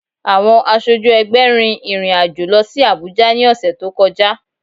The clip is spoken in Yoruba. Àwọn aṣojú ẹgbẹ́ rin ìrìn àjò lọ sí Abùjá ní ọ̀sẹ̀ tó kọjá